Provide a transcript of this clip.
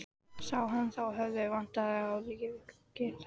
Sá hann þá að höfuðið vantaði á líkið.